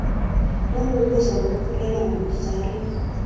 ukukubuza ngokukhulelwa nangokuzala